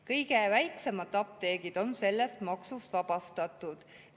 Kõige väiksemad apteegid on sellest maksust vabastatud.